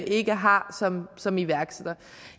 ikke har som som iværksætter